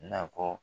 Nakɔ